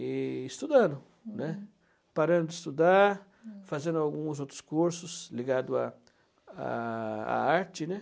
E estudando, né, parando de estudar, fazendo alguns outros cursos ligados à à à arte, né?